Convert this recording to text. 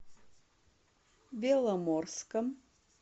беломорском